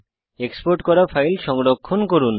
export করা file সংরক্ষণ করুন